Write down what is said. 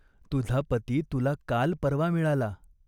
तुझा पती तुला काल परवा मिळाला.